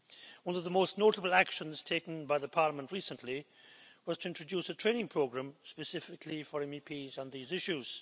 One of the most notable actions taken by Parliament recently was to introduce a training programme specifically for MEPs on these issues.